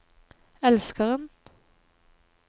elskeren